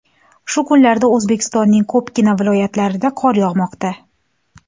Shu kunlarda O‘zbekistonning ko‘pgina viloyatlarida qor yog‘moqda .